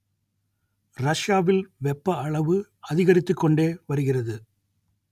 ரஷ்யாவில் வெப்ப அளவு அதிகரித்துக் கொண்டே வருகிறது